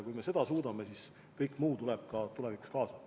Kui me seda suudame, siis kõik muu tuleb tulevikus ka kaasa.